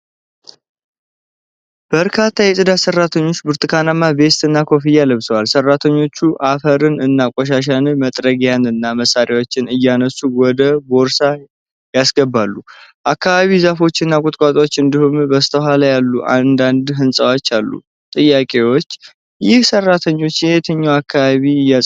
በርካታ የፅዳት ሠራተኞች ብርቱካናማ ቬስት እና ኮፍያ ለብሰዋል። ሠራተኞቹ አፈርን እና ቆሻሻን በመጥረጊያና በመሳሪያዎች እያነሱ ወደ ቦርሳ ያስገባሉ። አካባቢው ዛፎች እና ቁጥቋጦዎች እንዲሁም በስተኋላ ያሉ አንዳንድ ሕንፃዎች አሉ። ጥያቄዎች: ይህ ሠራተኞች የትኛውን አካባቢ እያጸዱ ነው?